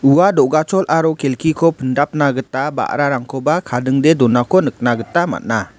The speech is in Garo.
ua do·gachol aro kelkiko pindapna gita ba·rarangkoba kadingdee donako nikna gita man·a.